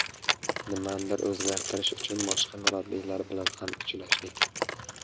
Nimanidir o‘zgartirish uchun boshqa murabbiylar bilan ham uchrashdik.